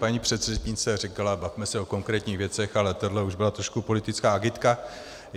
Paní předřečnice řekla, bavme se o konkrétních věcech, ale tohle už byla trošku politická agitka.